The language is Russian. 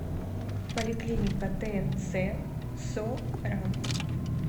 поликлиника тнц со ран